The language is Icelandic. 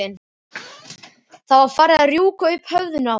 Það var farið að rjúka upp úr höfðinu á þér.